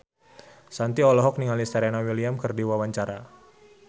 Shanti olohok ningali Serena Williams keur diwawancara